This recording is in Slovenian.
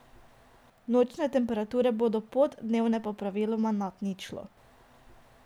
Nočne temperature bodo pod, dnevne pa praviloma nad ničlo.